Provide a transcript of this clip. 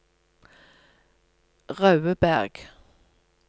Raudeberg